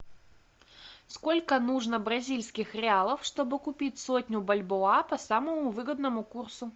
сколько нужно бразильских реалов чтобы купить сотню бальбоа по самому выгодному курсу